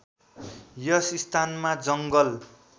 यस स्थानमा जङ्गल